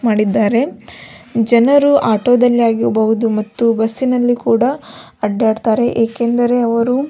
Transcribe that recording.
ಮಾಡಿದ್ದಾರೆ ಜನರು ಆಟೋದಲ್ಲಾಗಿರಬಹುದು ಮತ್ತು ಬಸ್ಸಿನಲ್ಲಿ ಕೂಡ ಅಡ್ಡಾಡತ್ತರೆ ಏಕೆಂದರೆ ಅವರು --